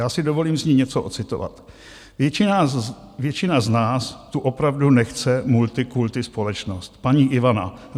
Já si dovolím z ní něco odcitovat: "Většina z nás tu opravdu nechce multikulti společnost" - paní Ivana.